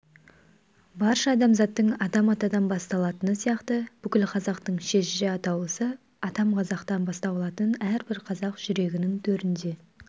барша адамзаттың адам атадан басталатыны сияқты бүкіл қазақтың шежіре атаулысы атам қазақтан бастау алатынын әрбір қазақ жүрегінің төрінде